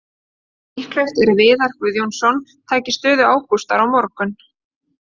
Líklegt er að Viðar Guðjónsson taki stöðu Ágústar á morgun.